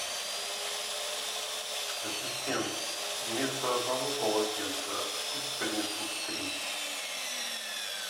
ассистент вместо одного полотенца пусть принесут три